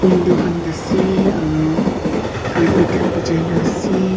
window khan ase aro carpet bijai na ase.